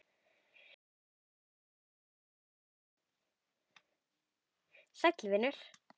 Sæll vinur